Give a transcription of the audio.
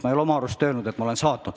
Ma ei ole oma arust öelnud, et ma olen saatnud.